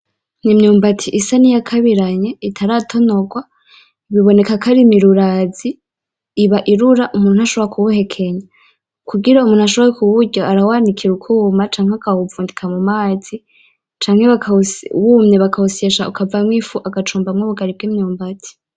Imyubati isa nkiyakabiranye itaratonorwa, biboneka ko ari murubazi, iba irura umuntu ntashobora kuwuhekenya. Kugira umuntu ashobore kuwurya arawanikira ukwuma canke akawuvundika mumazi, canke wumye akawusyeshamwo ifu bakawucumbamwo ubugari bwimyumbati.